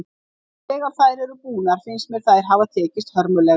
En þegar þær eru búnar finnst mér þær hafa tekist hörmulega.